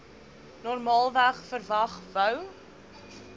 normaalweg verwag wou